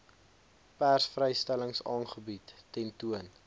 persvrystellings aanbiedings tentoon